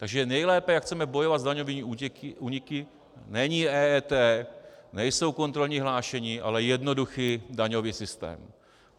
Takže nejlépe, jak chceme bojovat s daňovými úniky, není EET, nejsou kontrolní hlášení, ale jednoduchý daňový systém.